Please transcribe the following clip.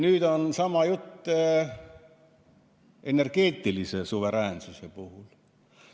Nüüd on sama jutt energeetilise suveräänsuse puhul.